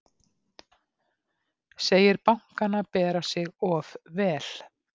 Segir bankana bera sig of vel